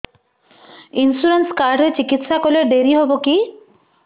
insurance card ରେ ଚିକିତ୍ସା କଲେ ଡେରି ହବକି